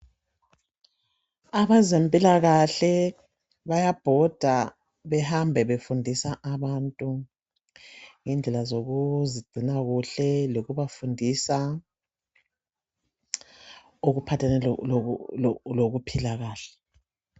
Abezempilakahle bayabhoda behamba befundisa abantu ngendlela zokuzingcina kuhle lokubafundisa okuphathelane lokuphila kahle